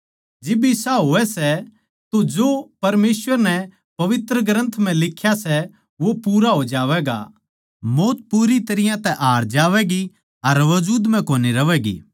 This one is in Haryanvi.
जिब इसा होवै सै तो जो परमेसवर नै पवित्र ग्रन्थ म्ह लिख्या सै वो पूरा हो जावैगा मौत पूरी तरियां तै हार जावैगी अर वजूद म्ह कोनी रहवैगी